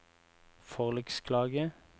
forliksklage